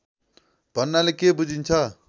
भन्नाले के बुझिन्छ